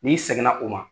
N'i sɛgɛnna o ma